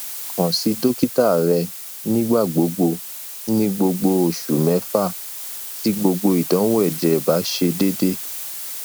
kan si dokita rẹ nigbagbogbo ni gbogbo oṣu mẹfa ti gbogbo idanwo ẹjẹ ba ṣe deede